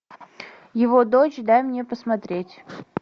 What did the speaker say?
его дочь дай мне посмотреть